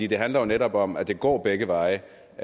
det handler jo netop om at det går begge veje